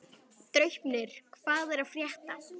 Draupnir, hvað er að frétta?